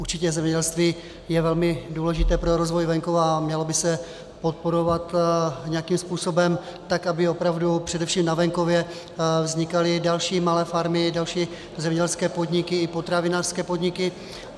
Určitě zemědělství je velmi důležité pro rozvoj venkova a mělo by se podporovat nějakým způsobem tak, aby opravdu především na venkově vznikaly další malé farmy, další zemědělské podniky i potravinářské podniky.